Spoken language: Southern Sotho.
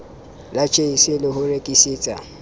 la jse le ho rekisetsa